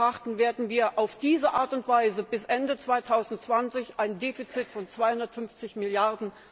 Euro betrachten, werden wir auf diese Art und Weise bis Ende 2020 ein Defizit von 250 Mrd.